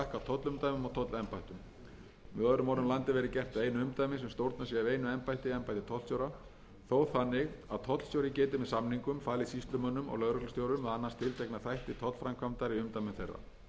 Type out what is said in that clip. og tollembættum með öðrum orðum landið verði gert að einu umdæmi sem stjórnað sé af einu embætti embætti tollstjóra þó þannig að tollstjóri geti með samningum falið sýslumönnum og lögreglustjórum að annast tiltekna þætti tollframkvæmdar í umdæmum þeirra það fyrirkomulag mun stuðla að aukinni hagræðingu